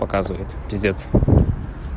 показывает пиздец